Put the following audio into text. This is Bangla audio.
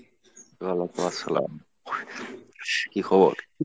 অলাইকুম আসসালাম, কী খবর?